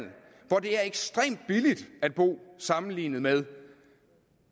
hvor det er ekstremt billigt at bo sammenlignet med